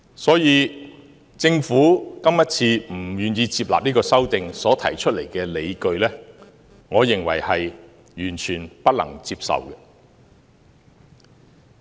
所以，政府今次不願意接納這項修訂所提出的理據，我認為是完全不能接受的。